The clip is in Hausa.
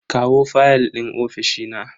kawo fayal din ofishi na.